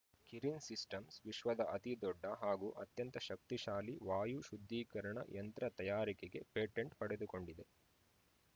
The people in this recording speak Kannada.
ಕಿರಿನ್‌ ಸಿಸ್ಟಮ್ಸ್‌ ವಿಶ್ವದ ಅತಿದೊಡ್ಡ ಹಾಗೂ ಅತ್ಯಂತ ಶಕ್ತಿಶಾಲಿ ವಾಯು ಶುದ್ಧೀಕರಣ ಯಂತ್ರ ತಯಾರಿಕೆಗೆ ಪೇಟೆಂಟ್‌ ಪಡೆದುಕೊಂಡಿದೆ